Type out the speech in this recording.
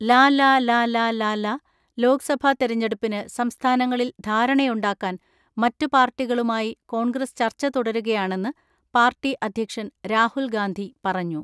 ലലലലലല ലോക്സഭാ തെരഞ്ഞെടുപ്പിന് സംസ്ഥാനങ്ങളിൽ ധാര ണയുണ്ടാക്കാൻ മറ്റു പാർട്ടികളുമായി കോൺഗ്രസ് ചർച്ച തുടരുകയാണെന്ന് പാർട്ടി അധ്യക്ഷൻ രാഹുൽ ഗാന്ധി പറഞ്ഞു.